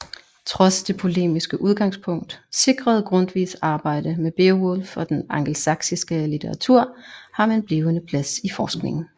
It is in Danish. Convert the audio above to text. Trods det polemiske udgangspunkt sikrede Grundtvigs arbejde med Beowulf og den angelsaksiske litteratur ham en blivende plads i forskningen